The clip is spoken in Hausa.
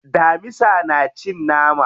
Damisa na cin nama.